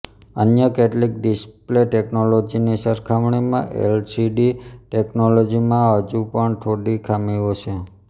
અન્ય કેટલીક ડિસ્પ્લે ટેકનોલોજીની સરખામણીમાં એલસીડી ટેકનોલોજીમાં હજુ પણ થોડી ખામીઓ છેઃ